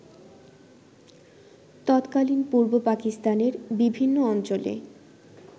তৎকালীন পূর্ব পাকিস্তানের বিভিন্ন অঞ্চলে